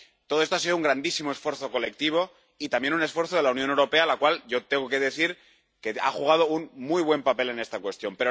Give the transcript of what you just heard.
Todo esto ha sido un grandísimo esfuerzo colectivo y también un esfuerzo de la Unión Europea, de la cual yo tengo que decir que ha jugado un muy buen papel en esta cuestión.